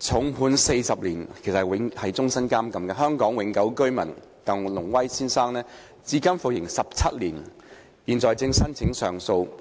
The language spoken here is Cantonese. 重判40年——是終身監禁——的香港永久性居民鄧龍威先生至今服刑17年，現正申請上訴。